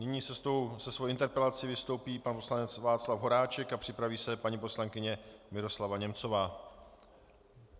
Nyní se svou interpelací vystoupí pan poslanec Václav Horáček a připraví se paní poslankyně Miroslava Němcová.